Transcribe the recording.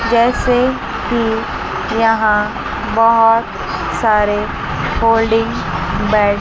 जैसे की यहां बहोत सारे फोल्डिंग बेड --